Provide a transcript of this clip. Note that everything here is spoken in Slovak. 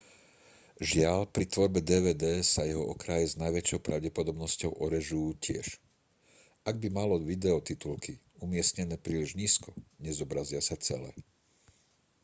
žiaľ pri tvorbe dvd sa jeho okraje s najväčšou pravdepodobnosťou orežú tiež ak by malo video titulky umiestnené príliš nízko nezobrazia sa celé